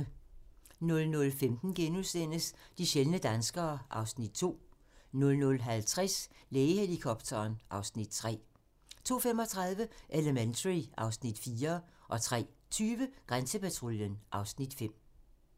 00:15: De sjældne danskere (Afs. 2)* 00:50: Lægehelikopteren (Afs. 3) 02:35: Elementary (Afs. 4) 03:20: Grænsepatruljen (Afs. 5)